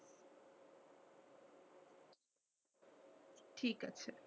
ঠিক আছে।